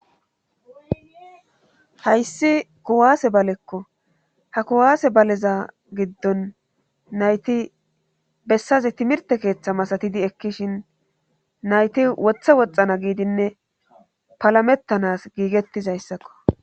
hayssi kuwaase balekko ha kuwaase baleza giddon nayti bessaze timirte keeththa masatidi ekkishin nayti wothe woxxana giidinne palamettanas giigettizayssakko